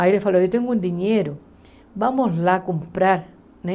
Aí ele falou, eu tenho um dinheiro, vamos lá comprar, né?